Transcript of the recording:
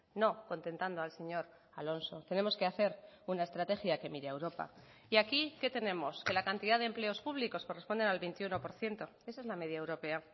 no contentando al señor alonso tenemos que hacer una estrategia que mire a europa y aquí qué tenemos que la cantidad de empleos públicos corresponden al veintiuno por ciento esa es la media europea